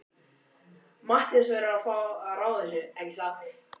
Matthías verður að fá að ráða þessu, ekki satt?